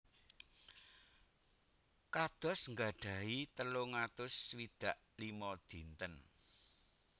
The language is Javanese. Kados gadhahi telung atus swidak limo dinten